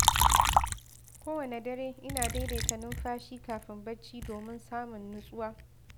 Kowane dare, ina daidaita numfashi kafin bacci domin samun nutsuwa.